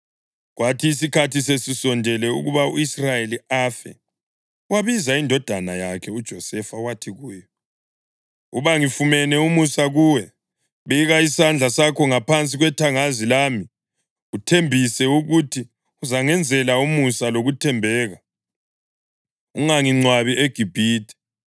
Kwathi isikhathi sesisondele ukuba u-Israyeli afe, wabiza indodana yakhe uJosefa wathi kuyo, “Uba ngifumene umusa kuwe, beka isandla sakho ngaphansi kwethangazi lami uthembise ukuthi uzangenzela umusa lokuthembeka. Ungangingcwabi eGibhithe,